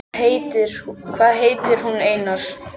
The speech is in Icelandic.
Hvað heitir hún, Einar?